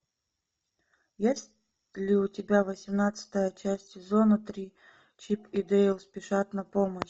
есть ли у тебя восемнадцатая часть сезона три чип и дейл спешат на помощь